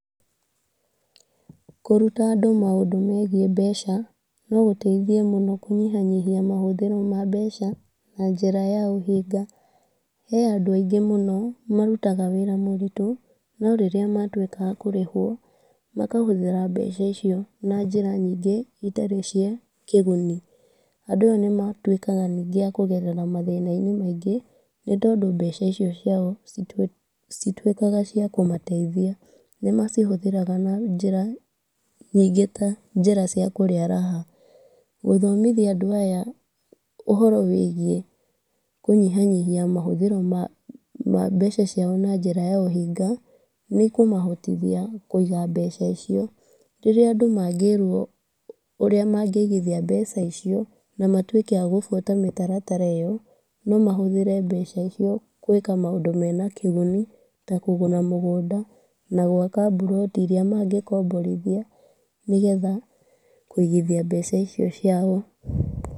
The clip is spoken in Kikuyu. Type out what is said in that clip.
Kũruta andũ maũndũ megiĩ mbeca nogũteithia kũnyihanyihia mahũthĩro ma mbeca na njĩra ya ũhinga. He andũ aingĩ mũno marutaga mawĩra mũritũ, norĩrĩa matuĩka akũrĩhwo makahũthĩra mbeca icio na njĩra ingĩ itarĩ cia kĩguni. Andũ aya nĩmatuĩkaga ningĩ akũgerera mathĩna-inĩ maingĩ, nĩ tondũ mbeca icio ciao citituĩkaga ciakũmateithia. Nĩmacihũthagĩra na njĩra nyingĩ ta njĩra cia kũrĩa raha. Gũthomithia andũ aya ũhoro wĩgiĩ kũnyihanyihia mahũthĩra ma mbeca ciao na njĩra ya ũhinga, nĩĩmahotithia kũiga mbeca icio. Rĩrĩa andũ mangĩrwo ũrĩa mangĩigithia mbeca icio, na matuĩke agũbuata mĩtaratara ĩyo, nomahũthĩre mbeca icio gũĩka maũndũ mena kĩguni, ta kũgũra mũgũnda na gwaka mburoti iria mangĩkomborithia, nĩgetha kũigithia mbeca icio ciao.